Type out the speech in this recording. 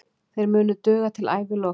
Þeir munu duga til æviloka.